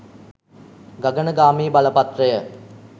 ගගනගාමී බලපත්‍රය